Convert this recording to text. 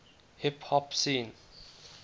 hip hop scene